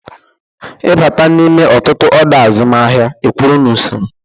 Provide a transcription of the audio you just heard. Ịbata n'ime ọtụtụ ọdọ azụmahịa ikwụrụ n'usoro.